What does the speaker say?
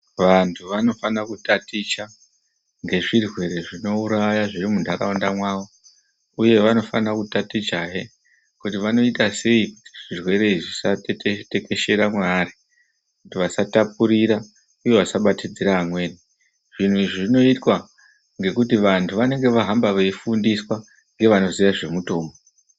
Vantu vanofana kutaticha ngezvirwere zvinouraya zviri muntaraunda mwavo uye vanofana kutatichahe kuti vanoita sei zvirwere izvi zvisatekeshera mwevari kuti vasatapurira uye vasabatidzira vamweni. Zviro izvi zvinoitwa ngekuti vantu vanenge vahamba veifundiswa ngevanoziya zvemutombo.